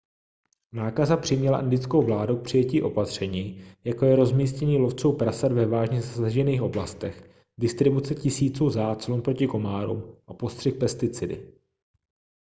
nákaza přiměla indickou vládu k přijetí opatření jako je rozmístění lovců prasat ve vážně zasažených oblastech distribuce tisíců záclon proti komárům a postřik pesticidy